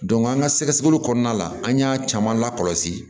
an ka sɛgɛsɛli kɔnɔna la an y'a caman lakɔlɔsi